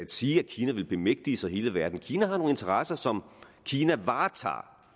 sige at kina vil bemægtige sig hele verden kina har nogle interesser som kina varetager